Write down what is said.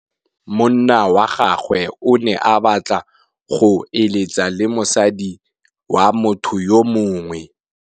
Monna wa gagwe o ne a batla go êlêtsa le mosadi wa motho yo mongwe.